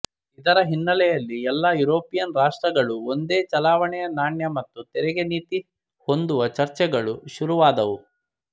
ಇದರ ಹಿನ್ನೆಲೆಯಲ್ಲಿ ಎಲ್ಲಾ ಯುರೋಪಿಯನ್ ರಾಷ್ಟ್ರಗಳೂ ಒಂದೇ ಚಲಾವಣೆಯ ನಾಣ್ಯ ಮತ್ತು ತೆರಿಗೆ ನೀತಿ ಹೊಂದುವ ಚರ್ಚೆಗಳು ಶುರುವಾದವು